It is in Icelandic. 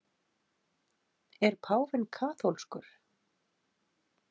Er páfinn kaþólskur?